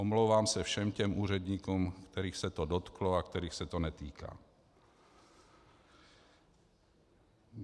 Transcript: Omlouvám se všem těm úředníkům, kterých se to dotklo a kterých se to netýká.